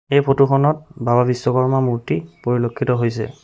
এই ফটোখনত বাবা বিশ্বকৰ্মাৰ মূৰ্তি পৰিলক্ষিত হৈছে।